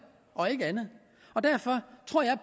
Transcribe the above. og ikke andet derfor tror jeg